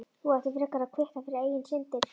Þú ættir frekar að kvitta fyrir eigin syndir.